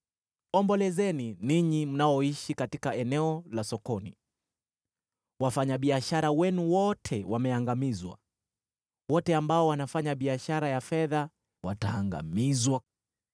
Ombolezeni, ninyi mnaoishi katika eneo la sokoni; wafanyabiashara wenu wote wameangamizwa, wote ambao wanafanya biashara ya fedha wataangamizwa.